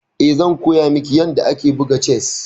Eh, zan koya miki yadda ake buga chess.